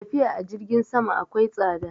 Tafiya a jirgin sama akwai tsada